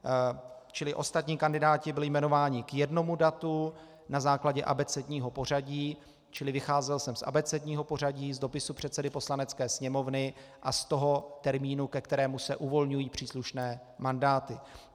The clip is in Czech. Čili ostatní kandidáti byli jmenováni k jednomu datu na základě abecedního pořadí, čili vycházel jsem z abecedního pořadí, z dopisu předsedy Poslanecké sněmovny a z toho termínu, ke kterému se uvolňují příslušné mandáty.